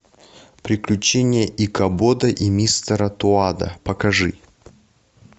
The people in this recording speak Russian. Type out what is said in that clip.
приключения икабода и мистера тоада покажи